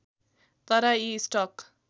तर यी स्टक